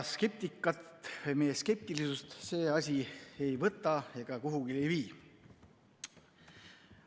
Ja meie skeptilisust see asi ära ei võta ja kuhugi ei vii.